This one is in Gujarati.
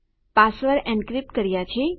પાસવર્ડ એનક્રિપ્ટ કર્યા છે